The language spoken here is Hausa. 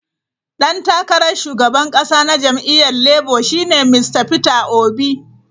Dan takarar shugaban kasa na jam'iyyar Labour shi ne Mista Peter Obi.